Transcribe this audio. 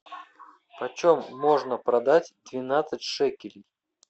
почем можно продать двенадцать шекелей